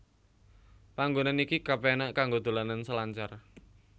Panggonan iki kepenak kanggo dolanan selancar